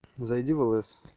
зайди в л с